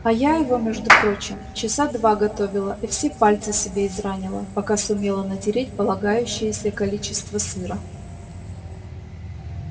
а я его между прочим часа два готовила и все пальцы себе изранила пока сумела натереть полагающееся количество сыра